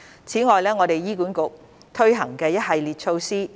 此外，我們會在醫院管理局推行一系列措施。